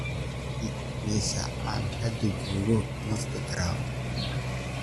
dhig meesha aan hadda joogo instagram